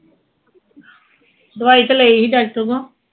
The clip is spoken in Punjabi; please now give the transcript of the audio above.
ਦਵਾਈ ਤੇ ਲਈ ਹੀ ਡਾਕਟਰ ਕੋ